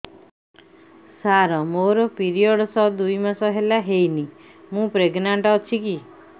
ସାର ମୋର ପିରୀଅଡ଼ସ ଦୁଇ ମାସ ହେଲା ହେଇନି ମୁ ପ୍ରେଗନାଂଟ ଅଛି କି